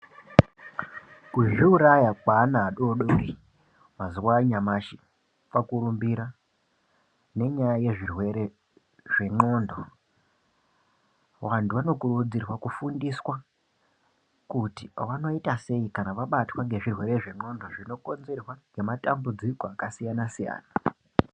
Kuzviuraya kwevana vadodori azuva anyamashi kwakurumbira nenyaya yezvirwere zvendxondo vantu vanokurudzirwa kufundiswa kuti vanoita sei kana vabatwa nezvirwere zvendxondo zvikonerwa ngematambudziko akasiyana-siyana